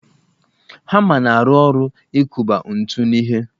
Hama na-arụ ọrụ ikụba ńtù n'ihe